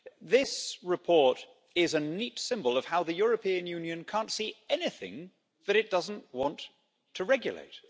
This report is a neat symbol of how the European Union can't see anything that it doesn't want to regulate.